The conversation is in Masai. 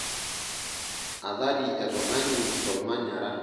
Athari e tungani tolmonyara.